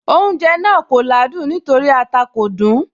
Oúnjẹ náà kò ládùn nítorí ata kò dùn ún